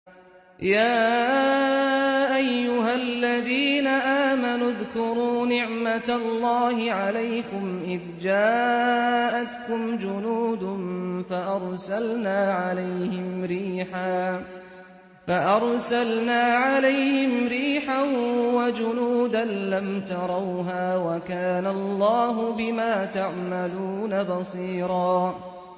يَا أَيُّهَا الَّذِينَ آمَنُوا اذْكُرُوا نِعْمَةَ اللَّهِ عَلَيْكُمْ إِذْ جَاءَتْكُمْ جُنُودٌ فَأَرْسَلْنَا عَلَيْهِمْ رِيحًا وَجُنُودًا لَّمْ تَرَوْهَا ۚ وَكَانَ اللَّهُ بِمَا تَعْمَلُونَ بَصِيرًا